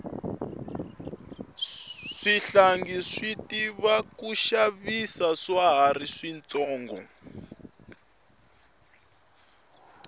swihlangi swi tiva ku xavisa swa hari swi tsonga